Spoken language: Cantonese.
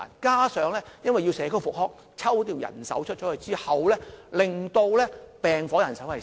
再者，因為社區復康要抽調人手出去，令病房人手減少。